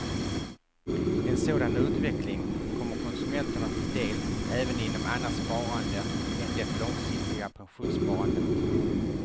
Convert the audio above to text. En sådan utveckling kommer konsumenterna till del även inom annat sparande än det långsiktiga pensionssparandet.